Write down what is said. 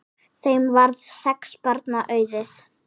Þeim varð sex barna auðið.